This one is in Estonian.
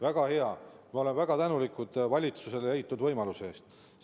Väga hea, me oleme valitsusele väga tänulikud leitud võimaluse eest.